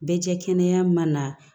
Bɛ cɛ kɛnɛya ma na